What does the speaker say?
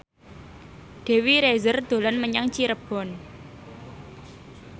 Dewi Rezer dolan menyang Cirebon